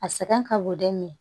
A sɛgɛn ka bon den min na